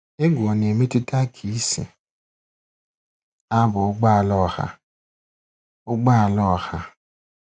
Egwu ọ na-emetụta ka I si aba ụgbọ ala ọha. ụgbọ ala ọha.